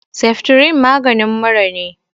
Seftrin maganin mura ne